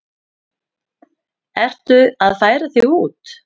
Ertu að færa þig út?